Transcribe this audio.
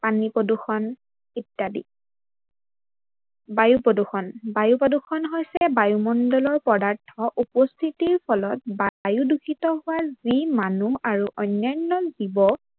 পানী প্ৰদূৰ্ষন ইত্যাদি। বায়ু প্ৰদূৰ্ষন, বায়ু প্ৰদূৰ্ষন হৈছে বায়ু মন্দলৰ পদাৰ্থৰ উপস্থিতিৰ ফলত বায়ু দূষিত হোৱা যি মানুহ আৰু অন্যান্য জীৱ